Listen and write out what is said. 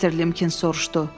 Mister Limkins soruşdu.